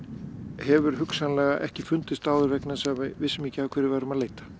hefur hugsanlega ekki fundist áður vegna þess að við vissum ekki að hverju við værum að leita